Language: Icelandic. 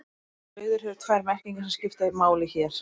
Orðið sauður hefur tvær merkingar sem skipta máli hér.